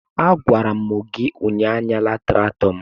a gwara m gi ụnyahụ, anyala traktọ m!